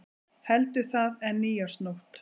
Heldur það en nýársnótt.